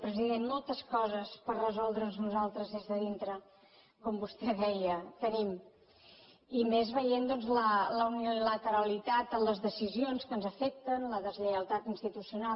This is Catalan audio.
president moltes coses per resoldre’ns nosaltres des de dintre com vostè deia tenim i més veient doncs la unilateralitat en les decisions que ens afecten la deslleialtat institucional